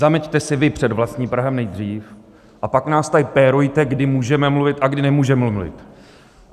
Zameťte si vy před vlastním prahem nejdřív, a pak nás tady pérujte, kdy můžeme mluvit a kdy nemůžeme mluvit.